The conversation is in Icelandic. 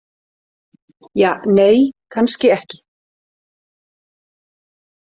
Ja, nei, kannski ekki.